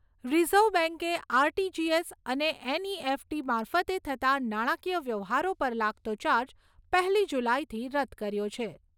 Reserve બેંકે RTGS અને NEFT મારફતે થતાં નાણાંકીય વ્યવહારો પર લાગતો ચાર્જ પહેલી જુલાઈથી રદ કર્યો છે.